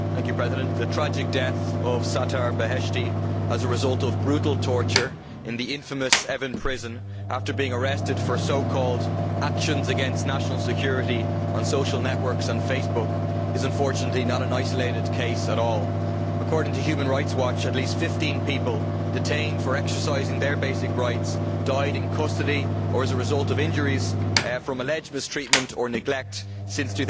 Mr President, the tragic death of Sattar Beheshti as a result of brutal torture in the infamous Evin prison following his arrest for so called actions against national security' on social networks and Facebook is, unfortunately, not an isolated case at all. According to Human Rights Watch, at least 15 people detained for exercising their basic rights have died in custody or as a result of injuries from alleged mistreatment or neglect since